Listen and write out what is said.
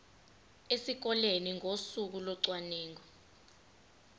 esikoleni ngosuku locwaningo